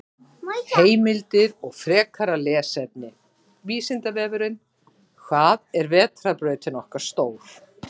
Heimildir og frekara lesefni: Vísindavefurinn: Hvað er vetrarbrautin okkar stór?